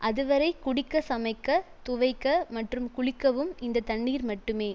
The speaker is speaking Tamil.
அதுவரை குடிக்க சமைக்க துவைக்க மற்றும் குளிக்கவும் இந்த தண்ணீர் மட்டுமே